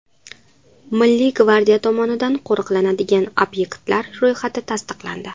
Milliy gvardiya tomonidan qo‘riqlanadigan obyektlar ro‘yxati tasdiqlandi .